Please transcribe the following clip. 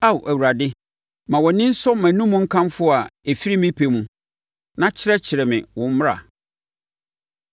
Ao Awurade, ma wʼani nsɔ mʼanom nkamfo a ɛfiri me pɛ mu, na kyerɛkyerɛ me wo mmara.